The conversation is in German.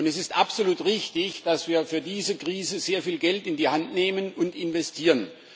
Es ist absolut richtig, dass wir für diese Krise sehr viel Geld in die Hand nehmen und investieren.